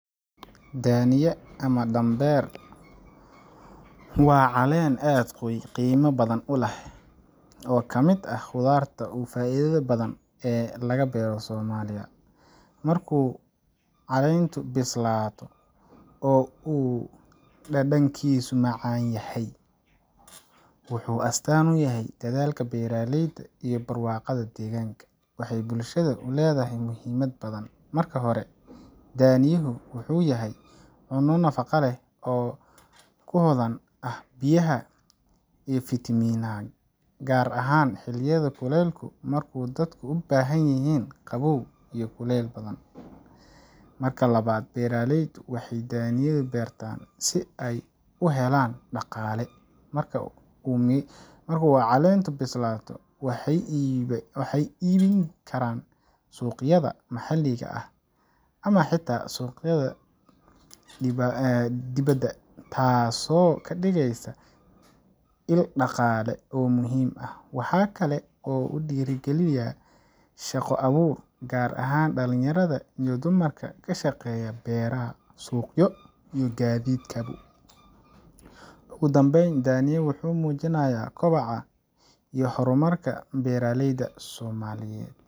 Daniya, ama danbeer, waa miro aad u qiimo badan oo ka mid ah khudaarta ugu faa'iidada badan ee laga beero Soomaaliya. Markuu caleyntu bislaado oo uu dhadhankiisu macaan yahay, wuxuu astaan u yahay dadaalka beeraleyda iyo barwaaqada deegaanka. Waxay bulshada u leedahay muhiimad badan. Marka hore, daniyuhu wuxuu yahay cunno nafaqo leh oo ku hodan ah biyaha iyo fiitamiinnada, gaar ahaan xilliyada kulaylaha marka dadku u baahan yihiin qabow iyo biyo badan. Marka labaad, beeraleydu waxay daniyada u beertaan si ay u helaan dhaqaale. Marka uu caleeyntu bislaado, waxay iibin karaan suuqyada maxalliga ah ama xitaa suuqyada dibadda, taasoo ka dhigeysa il dhaqaale oo muhiim ah. Waxaa kale oo uu dhiirrigeliyaa shaqo abuur, gaar ahaan dhalinyarada iyo dumarka ka shaqeeya beero, suuqyo iyo gaadiidka. Ugu dambayn, dania wuxuu muujinayaa kobaca iyo horumarka beeraleyda Soomaaliyeed.